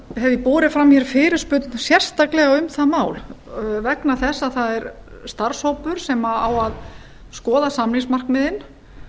ég borið fram fyrirspurn sérstaklega um það mál vegna þess að það er starfshópur sem á að skoða samningsmarkmiðin